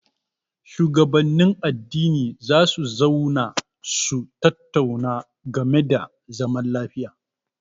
Shugabannin addini za su zauna su tattauna game da zaman lafiya.